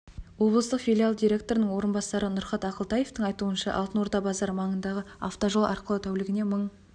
облыстық филиалы директорының орынбасары нұрхат ақылтаевтың айтуынша алтын орда базары маңындағы автожол арқылы тәулігіне мың